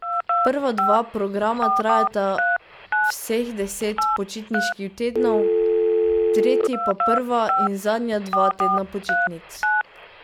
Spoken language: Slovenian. Prva dva programa trajata vseh deset počitniških tednov, tretji pa prva in zadnja dva tedna počitnic.